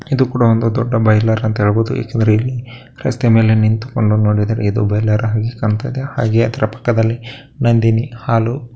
ಇದು ಕೂಡ ಒಂದು ದೊಡ್ಡ ಬಾಯಿಲರ್ ಅಂತ ಹೇಳಬಹುದು ಯಾಕಂದರೆ ಇಲ್ಲಿ ರಸ್ತೆಯ ಮೆಲೆ ನಿಂತುಕೊಂಡು ನೊಡಿದರೆ ಇದು ಬಾಯಿಲರ್‌ ಎಂದು ಕಾಣತ್ತದೆ ಹಾಗೆ ಅದರ ಪಕ್ಕದಲ್ಲಿ ನಂದಿನಿ ಹಾಲು --